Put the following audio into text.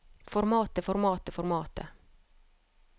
formatet formatet formatet